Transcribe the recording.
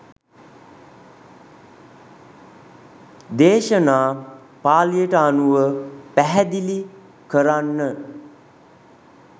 දේශනා පාලියට අනුව පැහැදිලි කරන්න.